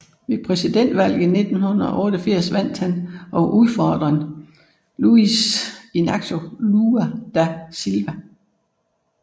Ved præsidentvalget i 1989 vandt han over udfordreren Luiz Inácio Lula da Silva